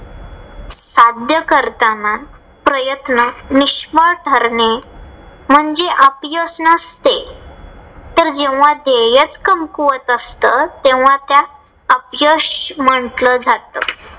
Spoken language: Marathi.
साध्य करताना प्रयत्न निष्फळ ठरणे. म्हणजे अपयश नसते. तर जेंव्हा धेय्यच कमकुवत असत तेंव्हा त्यास अपयश म्हंटल जात.